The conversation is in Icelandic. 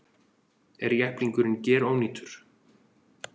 Er jepplingurinn gerónýtur